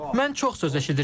Mən çox söz eşidirəm.